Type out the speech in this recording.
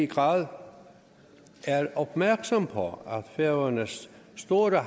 grad er opmærksom på at færøernes store